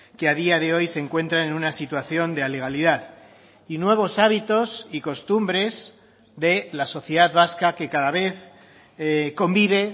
que a día de hoy se encuentran en una situación de alegalidad y nuevos hábitos y costumbres de la sociedad vasca que cada vez convive